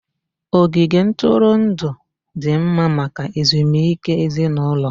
Ogige ntụrụndụ dị mma maka ezumike ezinụlọ